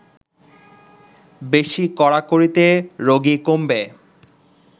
বেশি কড়াকড়িতে রোগী কমবে